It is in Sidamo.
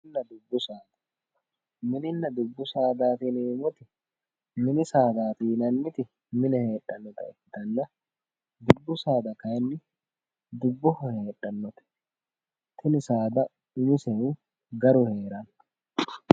mininna dubbu saada, mininna dubbu saada yineemmoti ,mini sadda yianniti mine heedhannota ikkitanna dubbu saada kayiinni dubboho heedhannota tini saada umoseno gargadhitannote